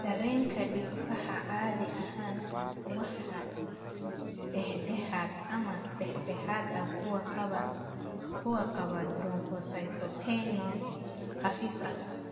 Dareenka dhiigbaxa caadi ahaan waa dhexdhexaad ama dhexdhexaad ah kuwa qaba thrombocytopenia khafiif ah.